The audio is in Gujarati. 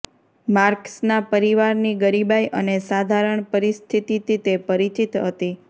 માર્ક્સના પરિવારની ગરીબાઈ અને સાધારણ પરિસ્થિતિથી તે પરિચિત હતી